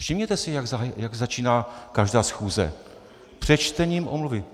Všimněte si, jak začíná každá schůze - přečtením omluv.